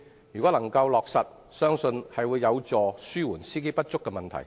建議一旦落實，相信有助紓緩司機不足的問題。